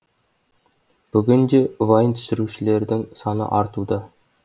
бүгін де вайн түсірушілердің саны артуда